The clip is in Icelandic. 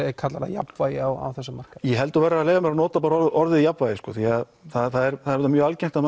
jafnvægi á þessa markaði ég held þú verðir að leyfa mér að nota bara orðið jafnvægi því að það er auðvitað mjög algengt að